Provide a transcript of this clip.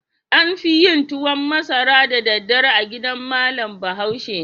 An fi yin tuwan masara da daddare a gidan malam Bahaushe.